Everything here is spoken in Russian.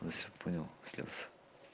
понял слез